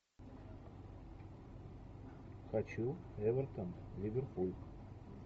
хочу эвертон ливерпуль